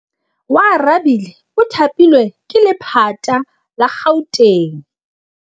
Oarabile o thapilwe ke lephata la Gauteng.